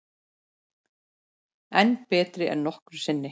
Enn betri en nokkru sinni